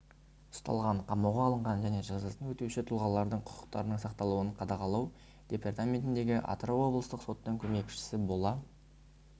ұсталған қамауға алынған және жазасын өтеуші тұлғалардың құқықтарының сақталуын қадағалау департаментіндегі атырау облыстық соттың көмекшісі бола